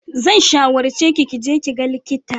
Zan shawarce ki ki je ki ga likita.